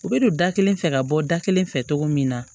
U bɛ don da kelen fɛ ka bɔ da kelen fɛ cogo min na